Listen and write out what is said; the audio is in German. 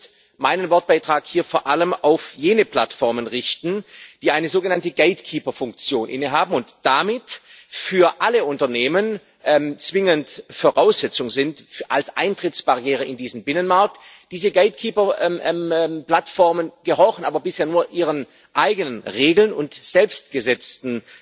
Ich möchte meinen Wortbeitrag hier vor allem auf jene Plattformen richten, die eine sogenannte Gatekeeper Funktion innehaben und damit für alle Unternehmen zwingend Voraussetzung sind als Eintrittsbarriere in diesen Binnenmarkt. Diese Gatekeeper Plattformen gehorchen aber bisher nur ihren eigenen Regeln und selbstgesetzten